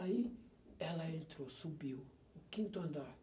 Aí ela entrou, subiu, o quinto andar.